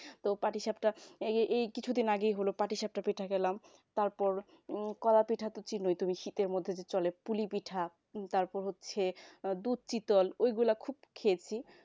তো পাটিসাপটা এই এই কিছুদিন আগেই হল পাটিসাপটা পিঠা খেলাম তারপর কলা-পিঠা তো চেনোই তুমি শীতের মধ্যে চলে পুলি-পিঠা দুধশীতল এইগুলা তো খুব খেলাম